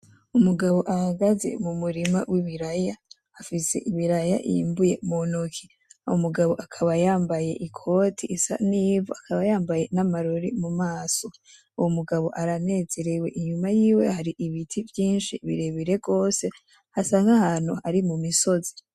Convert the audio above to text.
Umugabo ahagaze mu murima w'ibiraya, afise ibiraya yimbuye mu ntoki, uwo mugabo akaba yambaye ikoti isa n'ivu akaba yambaye n'amarori mu maso, uwo mugabo aranezerewe inyuma yiwe hari ibiti vyinshi birebire gose hasa nk'ahantu ari mu misozi.